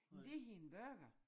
Det hedder en burger